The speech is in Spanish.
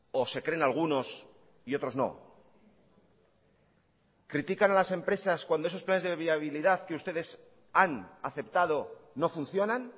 o se creen algunos y otros no critican a las empresas cuando esos planes de viabilidad que ustedes han aceptado no funcionan